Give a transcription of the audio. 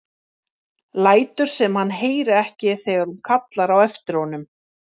Lætur sem hann heyri ekki þegar hún kallar á eftir honum.